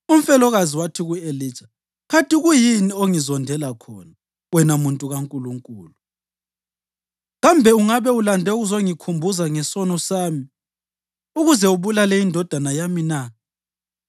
Umfelokazi wathi ku-Elija, “Kanti kuyini ongizondela khona, wena muntu kaNkulunkulu? Kambe ungabe ulande ukuzangikhumbuza ngesono sami ukuze ubulale indodana yami na?”